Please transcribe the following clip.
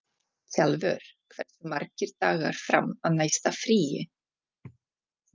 Kjalvör, hversu margir dagar fram að næsta fríi?